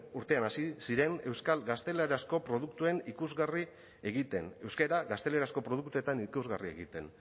urtean hasi ziren euskal gaztelerazko produktuen ikusgarri egiten euskara gaztelerazko produktuetan ikusgarri egiten